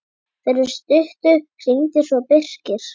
Fyrir stuttu hringdi svo Birkir.